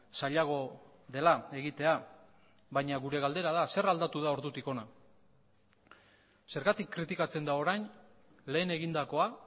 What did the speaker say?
zailago dela egitea baina gure galdera da zer aldatu da ordutik hona zergatik kritikatzen da orain lehen egindakoa